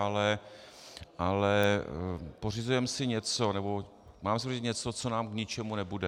Ale pořizujeme si něco, nebo máme si pořídit něco, co nám k ničemu nebude.